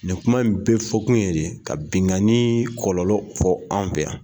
Nin kuma in bɛɛ fɔ kun ye de ka binkani kɔlɔlɔ fɔ anw fɛ yan.